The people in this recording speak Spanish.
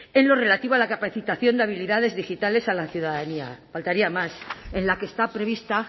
en lo relativo a la capacitación de habilidades digitales a la ciudadanía faltaría más en la que está prevista